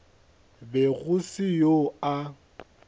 be go se yo a